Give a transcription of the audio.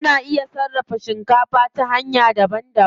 Ana iya sarrafa shikafa ta hanya daban daban.